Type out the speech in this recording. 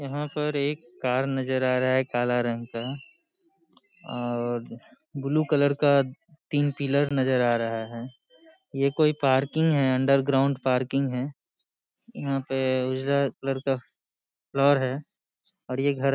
यहॉं पर एक कार नज़र आ रहा है काला रंग का और बुल्लू कलर का तीन पिलर नज़र आ रहा है। ये कोई पार्किंग है अंडरग्राउंड पार्किंग है। यहॉं पे उजला कलर का फ्लोर है और ये घर --